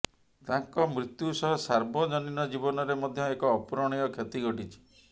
ତାଙ୍କ ମୃତ୍ୟୁ ସହ ସାର୍ବଜନୀନ ଜୀବନରେ ମଧ୍ୟ ଏକ ଅପୂରଣୀୟ କ୍ଷତି ଘଟିଛି